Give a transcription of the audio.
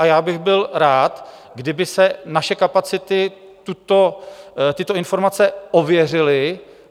A já bych byl rád, kdyby si naše kapacity tyto informace ověřily.